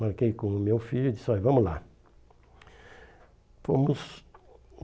Marquei com o meu filho e disse olha, vamos lá. Fomos.